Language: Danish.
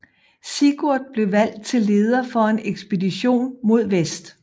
Sigurd blev valgt til leder for en ekspedition mod vest